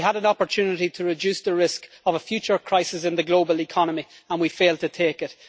We had an opportunity to reduce the risk of a future crisis in the global economy and we have failed to take it.